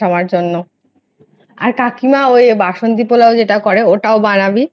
আমার জন্য আর কাকিমা ওই বাসন্তী পোলাও যেটা করে ওটাও বানাবি,